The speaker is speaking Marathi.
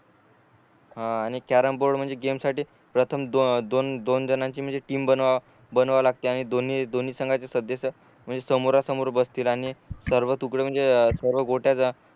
हा आणि कॅरम बोर्ड म्हणजे गेम साठी प्रथम दोन दोन जणांची म्हणजे टीम बनवा बनवाव लागते आणि दोन्ही दोन्ही संघाचे सदस्य म्हणजे समोरा समोर बसते आणि सर्व तूकड म्हणजे सर्व गोट्या जर